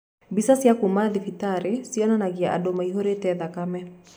Bica cia kuuma thibĩtarĩ cionanagĩa andũ mai-hũrĩte thakame.